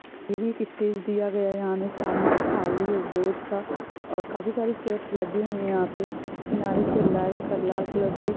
ये भी एक स्टेज दिया गया है यहाँ पर सामने खाली है बहुत सा और काफी सारी चेयर्स लगी हुई है यहाँ पे किनारे पे लाल कलर के --